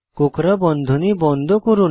কোঁকড়া বন্ধনী বন্ধ করুন